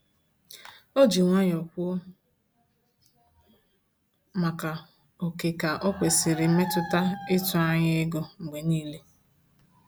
O ji nwayọ kwuo maka ókè ka onwesiri mmetụta ịtụ anya ego mgbe niile